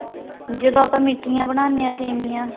ਜਦੋ ਆਪਾਂ ਮਿਠੀਆਂ ਬਣਾਂਦੇ ਆ ਸੇਮੀਆਂ